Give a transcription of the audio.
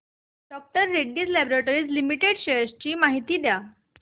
डॉ Reddy's laboratories limited shares ची माहिती द्या